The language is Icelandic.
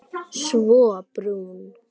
Svo brún.